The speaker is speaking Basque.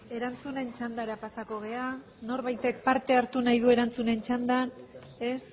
erantzunen txandara pasako gara norbaitek parte hartu nahi du erantzunen txandan ez